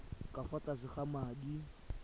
ka fa tlase ga madi